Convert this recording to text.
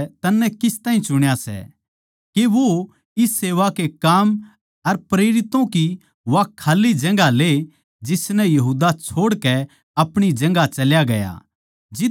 के वो इस सेवा के काम अर प्रेरितों की वा खाल्ली जगहां ले जिसनै यहूदा छोड़कै अपणी जगहां चल्या गया जित्त उसनै जाणा चाहिए था